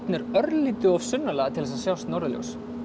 er örlítið of sunnarlega til þess að sjást norðurljós